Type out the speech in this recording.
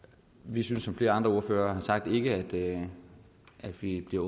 vi synes som flere andre ordførere har sagt ikke at vi bliver